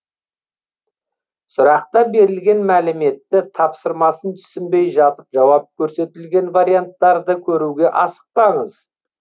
сұрақта берілген мәліметті тапсырмасын түсінбей жатып жауап көрсетілген варианттарды көруге асықпаңыз